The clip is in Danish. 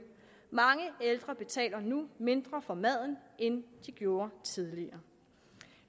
mange ældre betaler nu mindre for maden end de gjorde tidligere